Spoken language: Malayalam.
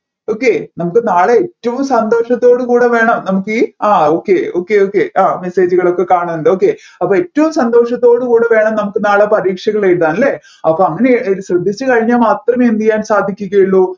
okay നമ്മുക്ക് നാളെ ഏറ്റവും സന്തോഷാത്തോട് കൂടെ വേണം നമ്മുക്കീ ആ okay okay okay ആ message ജുകളൊക്കെ കാണുന്നുണ്ട് okay അപ്പോ ഏറ്റവും സന്തോഷത്തോടെകൂടെ വേണം നമുക്ക് നാളെ പരീക്ഷകൾ എഴുതാൻ അല്ലെ അപ്പോ അങ്ങനെ ശ്രദ്ധിച്ച് കഴിഞ്ഞാൽ മാത്രമേ എന്ത് ചെയ്യാൻ സാധിക്കുകയുള്ളു